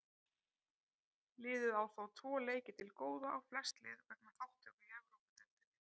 Liðið á þó tvo leiki til góða á flest lið vegna þátttöku í Evrópudeildinni.